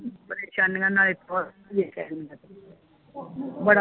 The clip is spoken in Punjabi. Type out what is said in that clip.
ਪਰੇਸ਼ਾਨੀਆਂ ਤੇ ਨਾਲੇ ਬੜਾ